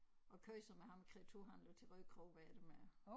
Og kørte så med ham kreaturhandleren til Rødekro hvad er det med